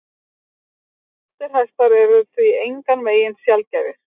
Skjóttir hestar eru því engan veginn sjaldgæfir.